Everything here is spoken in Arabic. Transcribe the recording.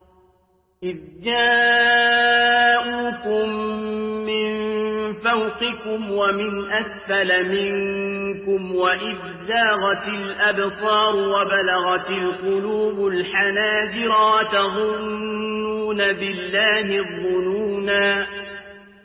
إِذْ جَاءُوكُم مِّن فَوْقِكُمْ وَمِنْ أَسْفَلَ مِنكُمْ وَإِذْ زَاغَتِ الْأَبْصَارُ وَبَلَغَتِ الْقُلُوبُ الْحَنَاجِرَ وَتَظُنُّونَ بِاللَّهِ الظُّنُونَا